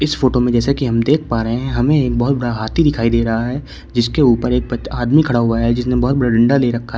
Photo में जैसा कि हम देख पा रहे हैं हमें एक बहुत बड़ा हाथी दिखाई दे रहा है जिसके ऊपर एक आदमी खड़ा हुआ है जिसने बहुत बड़ा डंडा ले रखा है।